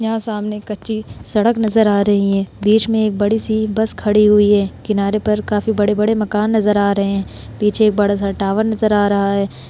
यहाँ सामने कच्ची सड़क नजर आ रही है। बीच में एक बड़ी-सी बस खड़ी हुई है। किनारे पर काफी बड़े-बड़े मकान नजर आ रहे। पीछे एक बड़ा-सा टॉवर नजर आ रहा है।